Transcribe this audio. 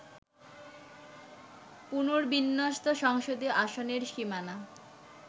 পুনর্বিন্যস্ত সংসদীয় আসনের সীমানা